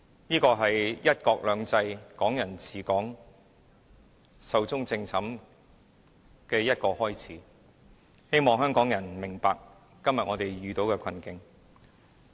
這是"一國兩制"、"港人治港"壽終正寢的開始，希望香港人明白我們今天遇到的困境。